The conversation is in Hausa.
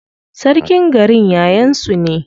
Sarkin garin yayan su ne.